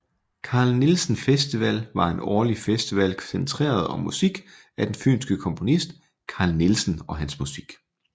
Carl Nielsen Festival var en årlig festival centreret om musik af den fynske komponist Carl Nielsen og hans musik